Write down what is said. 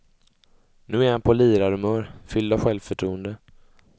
Nu är han på lirarhumör, fylld av självförtroende.